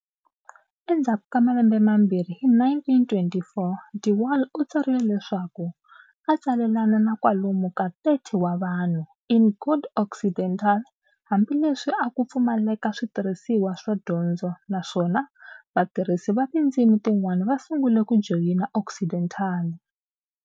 Endzhaku ka malembe mambirhi hi 1924, de Wahl u tsarile leswaku a a tsalelana na kwalomu ka 30 wa vanhu "in good Occidental" hambi leswi a ku pfumaleka switirhisiwa swo dyondza, naswona vatirhisi va tindzimi tin'wana va sungule ku joyina Occidental.